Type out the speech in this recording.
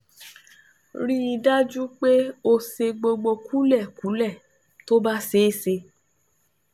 Rí i dájú pé o sọ gbogbo kúlẹ̀kúlẹ̀ tó bá ṣeé ṣe